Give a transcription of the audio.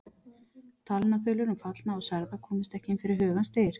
Talnaþulur um fallna og særða komust ekki inn fyrir hugans dyr.